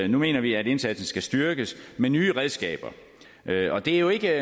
mener vi at indsatsen skal styrkes med nye redskaber og det er jo ikke